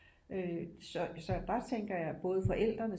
Øh så der tænker jeg både forældrene